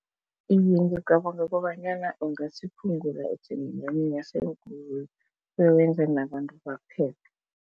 Iye ngicabanga kobanyana ungasiphungula isiminyaminya seenkoloyi bewenze nabantu baphephe.